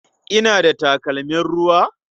Ina da takalmin ruwa?